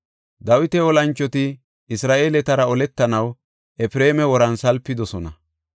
Dawita olanchoti Isra7eeletara oletanaw Efreema woran salpidosona.